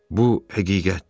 Bu həqiqətdir.